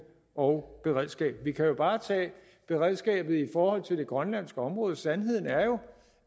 og beredskab vi kan bare tage beredskabet i forhold til det grønlandske område sandheden er jo